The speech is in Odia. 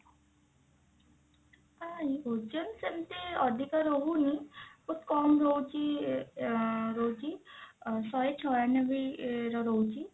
ନାଇଁ ଓଜନ ସେମତି ଅଧିକ ରହୁନି ବହୁତ କମ ରହୁଛି ଅ ଏ ରହୁଛି ଶହେ ଛୟାନବେ ଇଏ ରେ ରହୁଛି